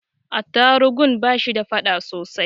Attarugun ba shi da fada sosai.